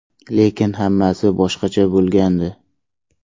Lekin hammasi boshqacha bo‘lgandi.